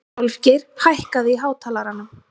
Álfgeir, hækkaðu í hátalaranum.